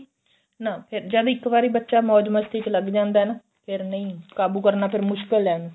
ਨਾ ਫੇਰ ਜਦ ਇੱਕ ਵਾਰੀ ਬੱਚਾ ਮੋਜ ਮਸਤੀ ਚ ਲੱਗ ਜਾਂਦਾ ਨਾ ਫੇਰ ਨਹੀਂ ਕਾਬੂ ਕਰਨਾ ਫੇਰ ਮੁਸ਼ਕਿਲ ਏ